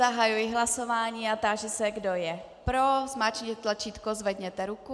Zahajuji hlasování a táži se, kdo je pro, zmáčkněte tlačítko, zvedněte ruku.